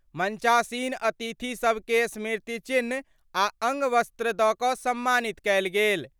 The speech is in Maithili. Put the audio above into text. मंचासीन अतिथि सभ के स्मृति चिह्न आ अंगवस्त्र द क सम्मानित कयल गेल।